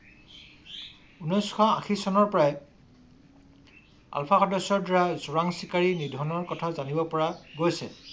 ঊনৈশ আশী চনৰ পৰাই আলফা সদস্যৰ দ্বাৰা চোৰাং চিকাৰী নিধণ ৰ কথা জানিব পৰা গৈছে।